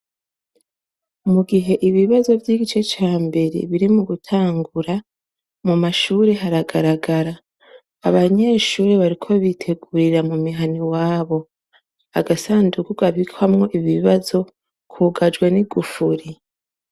Mu gihe ibibazo vy'igice ca mbere biri mu gutangura mu mashuri haragaragara abanyeshuri bariko bitegurira mu mihana i wabo agasanduku abikwamwo ibbibazo kugajwe ni gufuri.